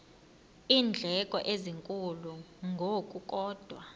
iindleko ezinkulu ngokukodwa